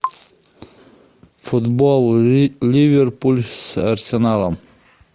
футбол ливерпуль с арсеналом